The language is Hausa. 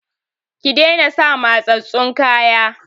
Ki daina sa matsatstsun kaya!